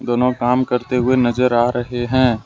दोनों काम करते हुए नजर आ रहे हैं।